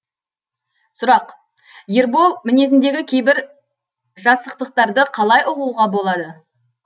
сұрақ ербол мінезіндегі кейбір жасықтықтарды қалай ұғуға болады